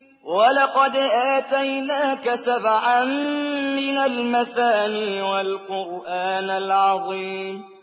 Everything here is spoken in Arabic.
وَلَقَدْ آتَيْنَاكَ سَبْعًا مِّنَ الْمَثَانِي وَالْقُرْآنَ الْعَظِيمَ